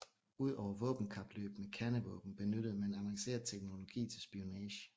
Udover våbenkapløb med kernevåben benyttede man avanceret teknologi til spionage